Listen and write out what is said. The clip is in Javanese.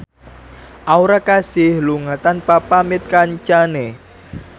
Aura Kasih lunga tanpa pamit kancane